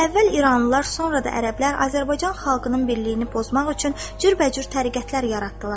Əvvəl iranlılar, sonra da ərəblər Azərbaycan xalqının birliyini pozmaq üçün cürbəcür təriqətlər yaratdılar.